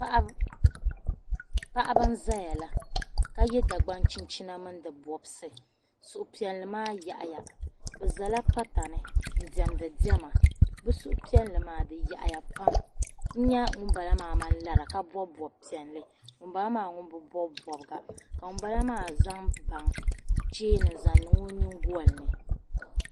Paɣibi n zayala ka yɛ Dagban chinchina mi ni. di bɔbsi. suhu piɛli maa yaɣiya bi zɛla pa tani n demdi dema bi suhu piɛli maa di yaɣi ya pam n nya ŋun bala maa man lara ka bɔb bɔbi piɛli, ŋun bala maa. ŋun bi bɔbi bɔbga ka ŋun bala zaŋ cheeni n-zaŋ niŋ o nyingolini .